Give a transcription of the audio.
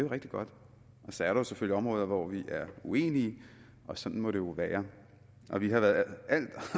rigtig godt så er der selvfølgelig områder hvor vi er uenige og sådan må det jo være vi har været